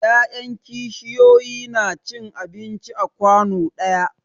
Ya'yan kishiyoyi na cin abinci a kwanu ɗaya.